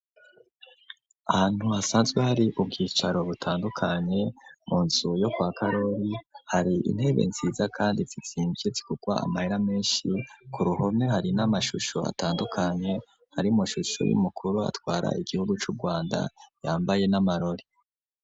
Ahantu hasanzwe hari ubwicaro butandukanye, mu nzu yo kwa Karori hari intebe nziza kandi zizimvye zigugwa amahera menshi, ku ruhome hari n'amashusho atandukanye hari amashusho y'umukuru atwara igihugu c'Urwanda yambaye n'amarori.